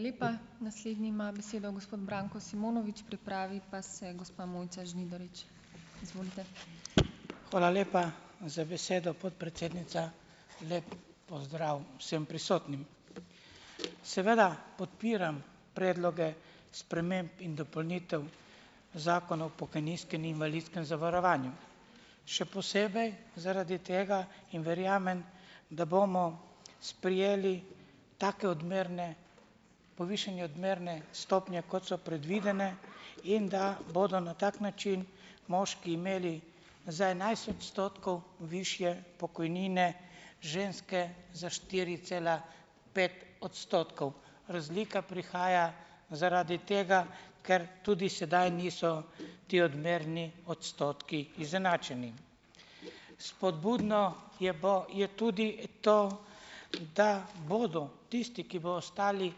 Hvala lepa za besedo, podpredsednica. Lep pozdrav vsem prisotnim. Seveda podpiram predloge sprememb in dopolnitev Zakona o pokojninskem in invalidskem zavarovanju. Še posebej zaradi tega in verjamem, da bomo sprejeli take odmerne, povišanje odmerne stopnje, kot so predvidene, in da bodo na tak način moški imeli za enajst odstotkov višje pokojnine, ženske za štiri cela pet odstotkov. Razlika prihaja zaradi tega, ker tudi sedaj niso ti odmerni odstotki izenačeni. Spodbudno je je tudi to, da bodo tisti, ki bo ostali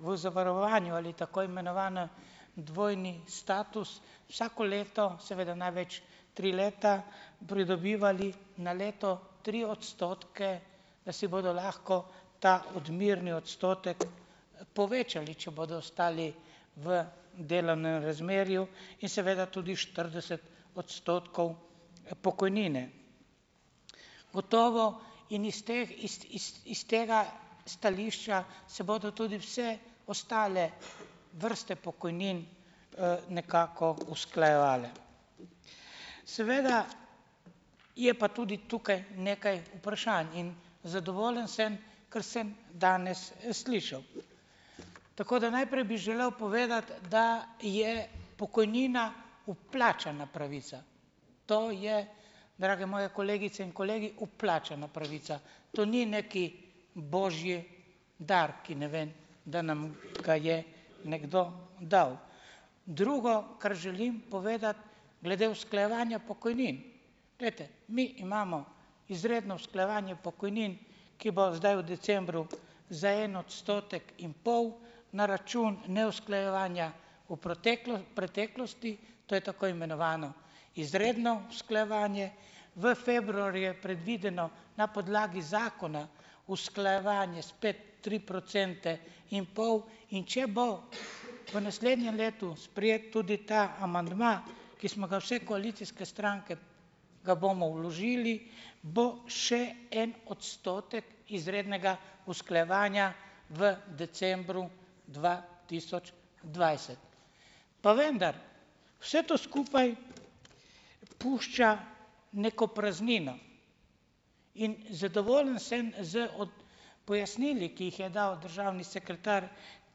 v zavarovanju ali tako imenovanem dvojni status, vsako leto, seveda največ tri leta, pridobivali na leto tri odstotke, da si bodo lahko ta odmerni odstotek povečali, če bodo ostali v delovnem razmerju, in seveda tudi štirideset odstotkov pokojnine. Gotovo in iz teh, iz, iz, iz tega stališča se bodo tudi vse ostale vrste pokojnin nekako usklajevale . Seveda je pa tudi tukaj nekaj vprašanj in zadovoljen sem, kar sem danes slišal. Tako da naprej bi želel povedati, da je pokojnina vplačana pravica. To je, drage moje kolegice in kolegi, vplačana pravica. To ni neki božji dar, ki, ne vem, da nam ga je nekdo dal. Drugo, kar želim povedati glede usklajevanja pokojnin. Glejte, mi imamo izredno usklajevanje pokojnin, ki bo zdaj v decembru za en odstotek in pol na račun neusklajevanja v preteklosti, to je tako imenovano izredno usklajevanje, v februarju je predvideno na podlagi zakona usklajevanje spet tri procente in pol, in če bo v naslednjem letu sprejet tudi ta amandma, ki smo ga vse koalicijske stranke, ga bomo vložili, bo še en odstotek izrednega usklajevanja v decembru dva tisoč dvajset. Pa vendar vse to skupaj pušča neko praznino. In zadovoljen sem z pojasnili, ki jih je dal državni sekretar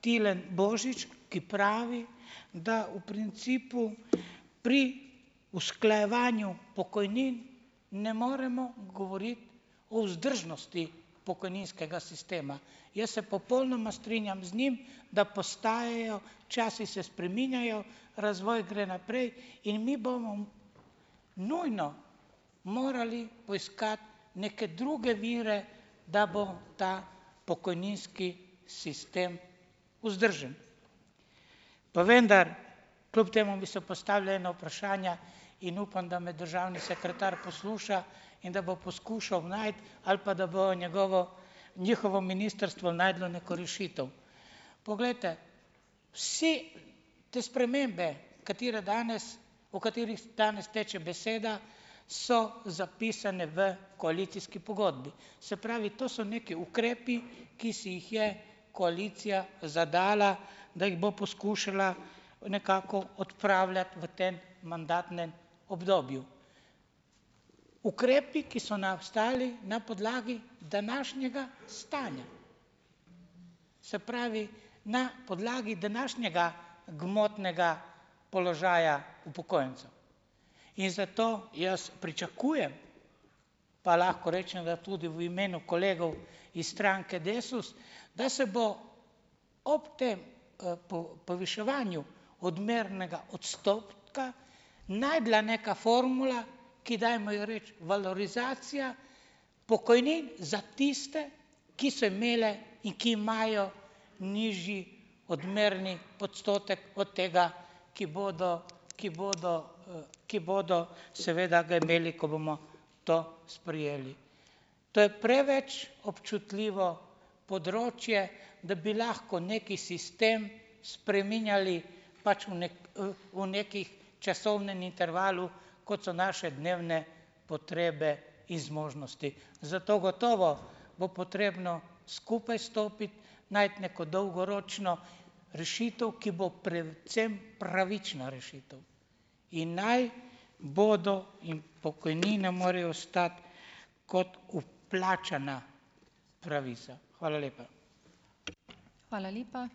Tilen Božič, ki pravi, da v principu pri usklajevanju pokojnin ne moremo govoriti o vzdržnosti pokojninskega sistema. Jaz se popolnoma strinjam z njim da postajajo, časi se spreminjajo, razvoj gre naprej in mi bomo nujno morali poiskati neke druge vire, da bo ta pokojninski sistem vzdržen. Pa vendar, kljub temu bi se postavlja ena vprašanja in upam, da me državni sekretar posluša in da bo poskušal najti ali pa da bojo njegovo, njihovo ministrstvo našlo neko rešitev. Poglejte. Vsi te spremembe, katere danes, o katerih danes teče beseda, so zapisane v koalicijski pogodbi. Se pravi, to so neki ukrepi, ki si jih je koalicija zadala, da jih bo poskušala nekako odpravljati v tem mandatnem obdobju. Ukrepi, ki so nastajali na podlagi današnjega stanja. Se pravi, na podlagi današnjega gmotnega položaja upokojencev. In zato jaz pričakujem, pa lahko rečem, da tudi v imenu kolegov iz stranke Desus, da se bo, ob tem poviševanju odmernega odstotka, našla neka formula, ki dajmo jo reči valorizacija pokojnin za tiste, ki so imele in ki imajo nižji odmerni odstotek od tega, ki bodo, ki bodo ki bodo seveda ga imeli , ko bomo to sprejeli. To je preveč občutljivo področje, da bi lahko nekaj sistem spreminjali pač v nek v nekih časovnem intervalu, kot so naše dnevne potrebe in zmožnosti. Zato gotovo bo potrebno skupaj stopiti, najti neko dolgoročno rešitev, ki bo predvsem pravična rešitev. In naj bodo in pokojnine morajo ostati kot vplačana pravica. Hvala lepa.